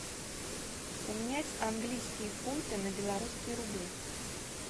поменять английские фунты на белорусские рубли